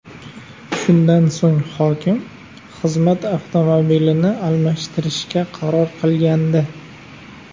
Shundan so‘ng hokim xizmat avtomobilini almashtirishga qaror qilgandi .